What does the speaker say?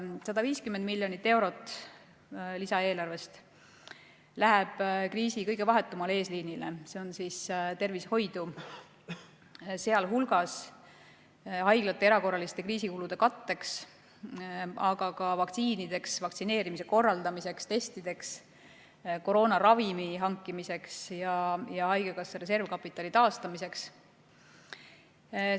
150 miljonit eurot lisaeelarvest läheb kriisi kõige vahetumale eesliinile ehk tervishoidu, sealhulgas haiglate erakorraliste kriisikulude katteks, aga ka vaktsiinideks, vaktsineerimise korraldamiseks, testideks, koroonaravimi hankimiseks ja haigekassa reservkapitali taastamiseks.